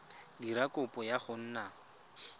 dira kopo ya go nna